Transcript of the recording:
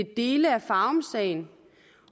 dele af farumsagen